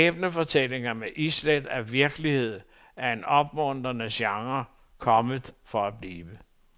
Skæbnefortællinger med islæt af virkelighed er en opmuntrende genre, kommet for at blive.